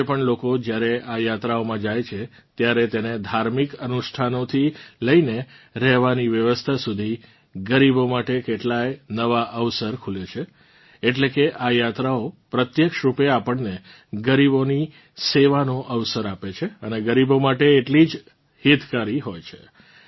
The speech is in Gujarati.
આજે પણ લોકો જ્યારે આ યાત્રાઓમાં જાય છે ત્યારે તેને ધાર્મિંક અનુષ્ઠાનોથી લઇને રહેવાની વ્યવસ્થા સુધી ગરીબો માટે કેટલાંય નવાં અવસર ખુલે છે એટલે કે આ યાત્રાઓ પ્રત્યક્ષ રૂપે આપણને ગરીબોની સેવાનો અવસર આપે છે અને ગરીબો માટે એટલી જ હિતકારી હોય છે